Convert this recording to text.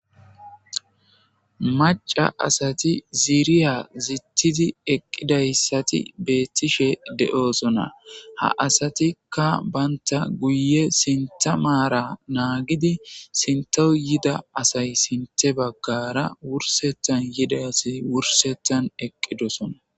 Macca asati ziriya zittidi eqqidayssati beettishe de7oosona.ha asatikka bantta guyye sintha maara naagidi sinttaw yida asay sinthe baggaara wursethan yida asi wursethaan eqqidoosona.